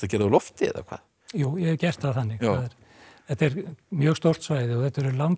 úr lofti eða hvað jú ég hef gert það þannig þetta er mjög stórt svæði og þetta eru langir